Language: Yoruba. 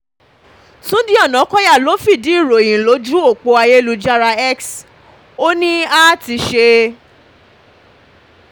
túnde ọ̀nàkọ́yà ló fìdí ìròyìn lójú ọ̀pọ̀ ayélujára x ó ní a ti ṣe